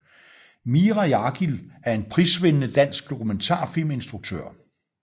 Mira Jargil er en prisvindende dansk dokumentarfilminstruktør